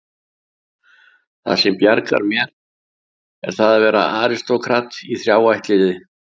Það sem bjargar mér er að vera aristókrat í þrjá ættliði.